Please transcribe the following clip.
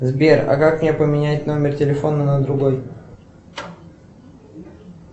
сбер а как мне поменять номер телефона на другой